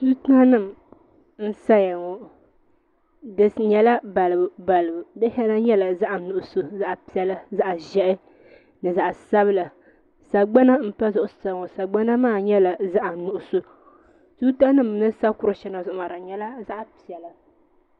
Tuuta nim n saya ŋo di nyɛla balibu balibu du shɛli nyɛla zaɣ'nuɣso zaɣ'piɛlli zaɣ'ʒiɛhi ni zaɣ'sabila sagbana n pa zuɣusaa ŋo sagbana maa nyɛla zaɣnuɣso tuuta nim ni sa kuri shɛŋq zuɣumaa di nyɛla zaɣ'piɛlla